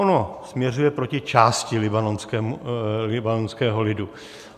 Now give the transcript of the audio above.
Ono směřuje proti části libanonského lidu.